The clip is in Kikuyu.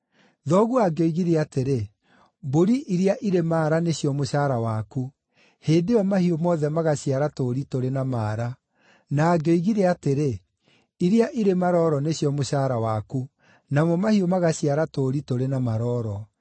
Thoguo angĩoigire atĩrĩ, ‘Mbũri iria irĩ maara nĩcio mũcaara waku,’ hĩndĩ ĩyo mahiũ mothe magaciara tũũri tũrĩ na maara; na angĩoigire atĩrĩ, ‘Iria irĩ marooro nĩcio mũcaara waku,’ namo mahiũ magaciara tũũri tũrĩ na marooro.